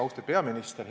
Austatud peaminister!